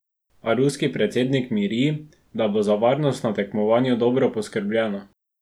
A ruski predsednik miri, da bo za varnost na tekmovanju dobro poskrbljeno.